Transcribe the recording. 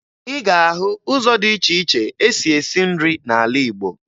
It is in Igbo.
Ị ga-ahụ ụzọ dị iche iche e si esi nri n'ala Igbo